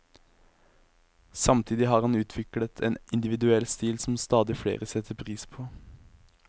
Samtidig har han utviklet en individuell stil som stadig flere setter pris på.